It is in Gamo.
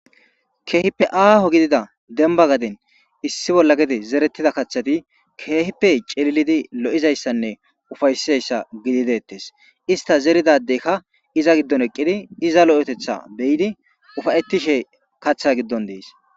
keehippe aaho gidida demba gaden issi bolla gede zerettida kaththati keehipe celilidi lo7izayssanne ufaysizayssa gidi deettes ista zeridadeykka iza giddon eqqidi iza lo7etetha beyidi ufayettishe kaththa giddon dees